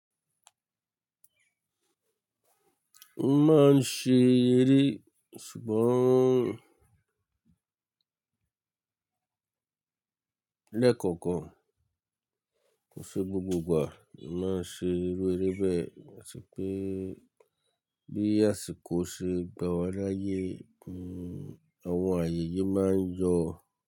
Wọ́n máa ń ṣe eré ṣùgbọ́n lẹ́kọ̀ọ̀kan, kò ṣe gbogbo ìgbà máa ń ṣe irú eré bẹ́ẹ̀, bí àsìkò ṣe ń gbà wá láyé, àwọn àyèyé máa ń yọ.